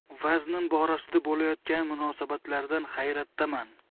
Vaznim borasida bo‘layotgan munosabatlardan hayratdaman.